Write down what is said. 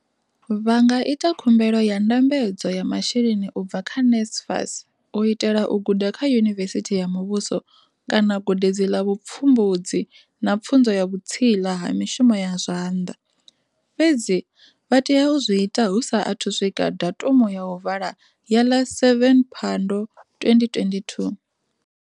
Vha nga ita khumbelo ya ndambedzo ya masheleni u bva kha NSFAS u itela u guda kha yunivesithi ya muvhuso kana gudedzi ḽa vhupfumbudzi na pfunzo ya vhutsila ha mishumo ya zwanḓa, fhedzi vha tea u zwi ita hu sa athu u swika datumu ya u vala ya ḽa 7 Phando, 2022.